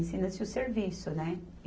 Ensina-se o serviço, né?